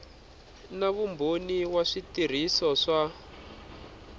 na vumbhoni wa switirhiso swa